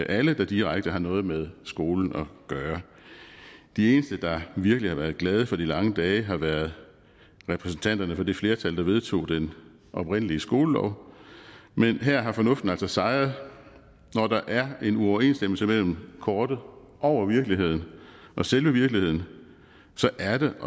alle der direkte har noget med skolen at gøre de eneste der virkelig har været glade for de lange dage har været repræsentanterne for det flertal der vedtog den oprindelige skolelov men her har fornuften altså sejret når der er en uoverensstemmelse mellem kortet over virkeligheden og selve virkeligheden så er det